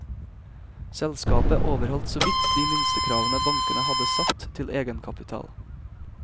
Selskapet overholdt såvidt de minstekravene bankene hadde satt til egenkapital.